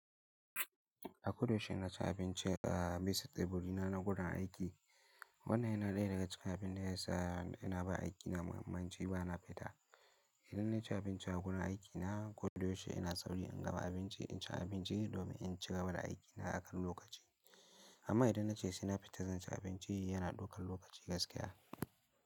A ko da yaushe ina cin abinci a misut evolina na gurun aiki. Wannan yana ɗaya daga cikin abin da ya sa ina ba aiki na mahimmanci ba na fita. Idan na ci abinci a gurun aiki na, ko da yaushe ina sauri in gama abinci in ci abinci domin in cigaba da aiki na a kan lokaci. Amma idan na ce sai na fita zan ci abinci yana ɗaukan lokaci gaskiya.